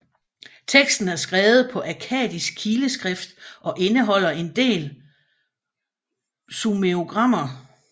Teksten er skrevet på akkadisk kileskrift og indeholder en del sumerogrammer